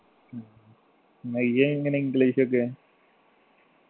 മഹിജ എങ്ങനെയാ english ഒക്കെ